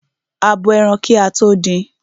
A bo ẹran kí a tó din.